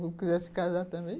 Se quisesse casar também,